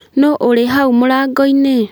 Nũũ ũrĩ hau mũrango-inĩ?